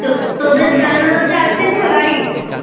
তো~ তোদের জানলা দরজা আঁচড়েছিল গাড়ির?